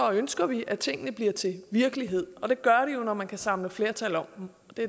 ønsker vi at tingene bliver til virkelighed og det gør de jo når man kan samle flertal og